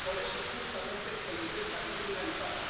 Y por eso justamente se la intenta criminalizar.